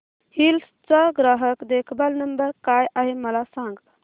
hills चा ग्राहक देखभाल नंबर काय आहे मला सांग